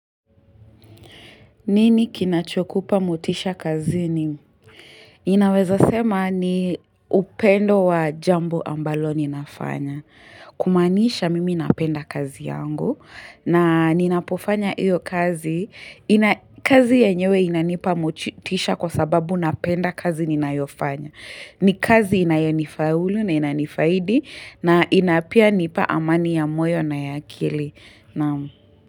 Nini kinachokupa motisha kazini Ninaweza sema ni upendo wa jambo ambalo ninafanya Kumaanisha mimi napenda kazi yangu na ninapofanya hiyo kazi kazi yenyewe inanipa motisha kwa sababu napenda kazi ninayofanya ni kazi inayonifaulu na inanifaidi na ina pia nipa amani ya moyo na ya akili naam.